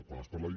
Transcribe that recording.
quan es parla de